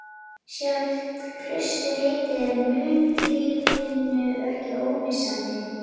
Sjálft klausturheitið er munklífinu ekki ómissandi.